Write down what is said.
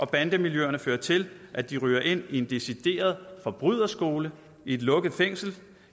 bande miljøerne føre til at de ryger ind i en decideret forbryderskole i et lukket fængsel